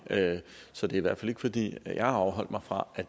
så det er i hvert fald ikke fordi jeg har afholdt mig fra at